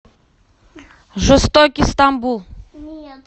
жестокий стамбул